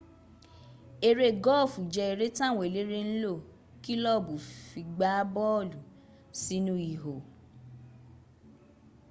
eré gọ́ọ̀fù jẹ́ eré táwọn eléré ńlò kílọ̀bù fi gbá bọ́ọ̀lù sínú ihò